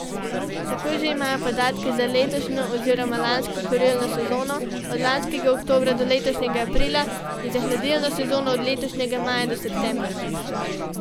Tako že imajo podatke za letošnjo oziroma lansko kurilno sezono od lanskega oktobra do letošnjega aprila in za hladilno sezono od letošnjega maja do septembra.